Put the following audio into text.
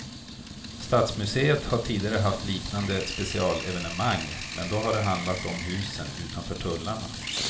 Stadsmuseet har tidigare haft liknande specialevenemang, men då har det handlat om husen utanför tullarna.